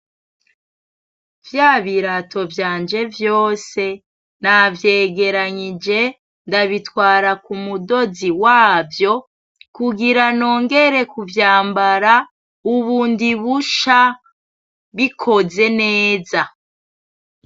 Vyabirato vyanje vyose navyegeranyije ndabitwara kumudozi wavyo kugira nongere kuvyambara ubundi busha bikoze neza.